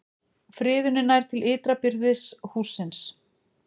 Friðunin nær til ytra byrðis hússins